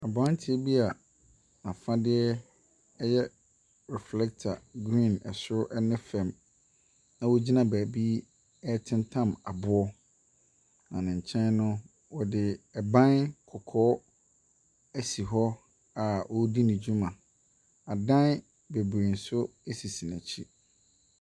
Aberanteɛ bi n’afadeɛ yɛ reflector soro ne fam na ogyina beebi ɛretentam aboɔ. Na ne nkyɛn no, wɔde ban kɔkɔɔ ɛsi hɔ a ɔredi ne dwuma. Adan bebree nso sisi n’akyi.